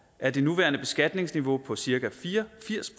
er det nuværende beskatningsniveau på cirka fire og firs